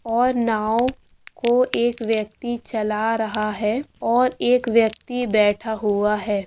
और नौ को एक व्यक्ति चल रहा है और एक व्यक्ति बैठा हुआ है|